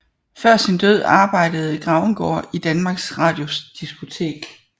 Før sin død arbejdede Grauengaard i Danmarks Radios diskotek